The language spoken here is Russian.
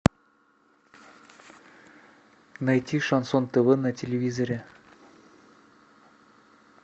найти шансон тв на телевизоре